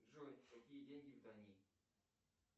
джой какие деньги в дании